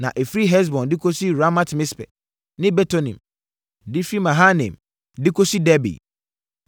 Na ɛfiri Hesbon de kɔsi Ramat-Mispe ne Betonim de firi Mahanaim de kɔsi Debir.